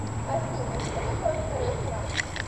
афина что такое второй храм